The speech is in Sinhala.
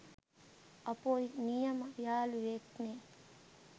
අපොයි නියම යාලුවෙක්නෙ